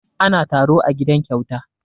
Ana taro a gidan Kyauta.